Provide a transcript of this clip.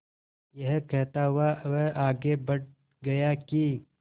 यह कहता हुआ वह आगे बढ़ गया कि